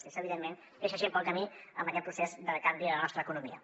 i això evidentment deixa gent pel camí en aquest procés de canvi de la nostra economia